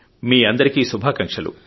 మీ అందరికీ శుభాకాంక్షలు